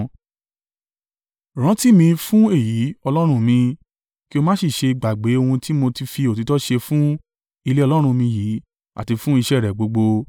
Rántí ì mi fún èyí, Ọlọ́run mi, kí o má sì ṣe gbàgbé ohun tí mo fi òtítọ́ ṣe fún ilé Ọlọ́run mi yìí àti fún iṣẹ́ ẹ rẹ̀ gbogbo.